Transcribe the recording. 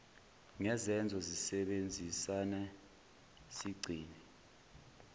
ngezenzo sisebenzisane sigcine